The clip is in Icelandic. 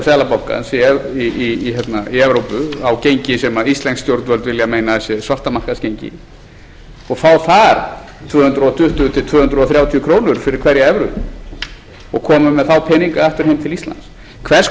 seðlabankans í evrópu á gengi sem íslensk stjórnvöld vilja meina að sé svartamarkaðsgengi og fá þar tvö hundruð tuttugu til tvö hundruð þrjátíu krónur fyrir hverja evru og koma með þá peninga aftur heim til íslands hvers